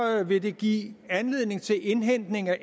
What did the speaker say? vil give anledning skal indhentes